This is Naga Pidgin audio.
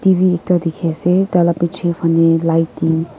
tv ekta dekhi ase tar laga piche fale light --